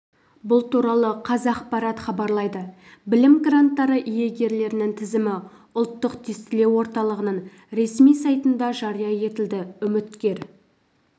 бұл туралы қазақпарат хабарлайды білім гранттары иегерлерінің тізімі ұлттық тестілеу орталығының ресми сайтында жария етілді үміткер